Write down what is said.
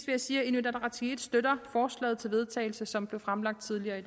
jeg sige at inuit ataqatigiit støtter forslaget til vedtagelse som blev fremsat tidligere